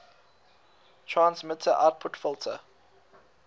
transmitter output filter